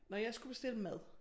Når jeg skulle bestille mad